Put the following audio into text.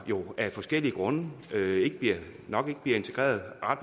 jo af forskellige grunde nok ikke bliver integreret